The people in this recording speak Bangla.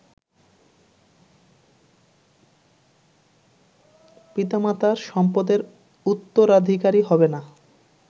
পিতামাতার সম্পদের উত্তরাধিকারী হবেনা